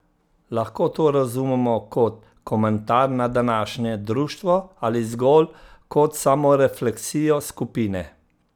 Lahko to razumemo kot komentar na današnje društvo ali zgolj kot samorefleksijo skupine?